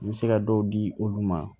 N bɛ se ka dɔw di olu ma